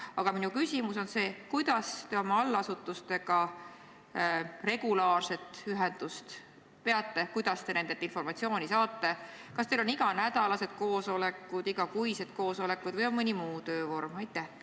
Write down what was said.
Aga minu küsimus on see: kuidas te oma allasutustega regulaarset ühendust peate, kuidas te nendelt informatsiooni saate, kas teil on iganädalased koosolekud, igakuised koosolekud või on mõni muu töövorm?